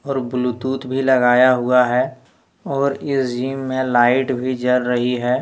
और ब्लूटूथ भी लगाया हुआ है और इस जिम में लाइट भी जल रही है।